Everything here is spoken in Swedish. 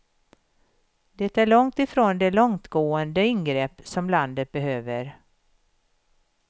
Det är långt ifrån de långtgående ingrepp som landet behöver.